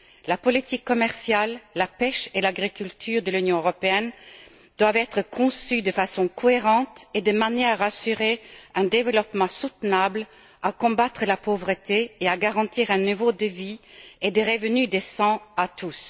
La politique commerciale, la pêche et l'agriculture de l'Union européenne doivent être conçues de façon cohérente et de manière à assurer un développement durable, à combattre la pauvreté et à garantir un niveau de vie et des revenus décents à tous.